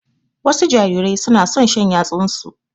Wasu jarirai su na son shan yatsunsu.